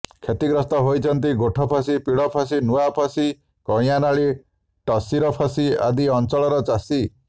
କ୍ଷତିଗ୍ରସ୍ତ ହେଉଛନ୍ତି ଗୋଠପସୀ ପିଢ଼ପସୀ ନୁଆଁପସୀ କଇଁଆନାଳୀ ଟାସିରପସି ଆଦି ଅଞ୍ଚଳର ଚାଷୀ